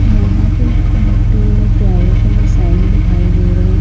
यहां पे two wheeler travel का साइन दिखाई दे रहा है।